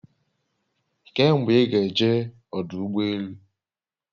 Kee mgbe i ga eje odu ugbo elu?